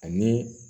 Ani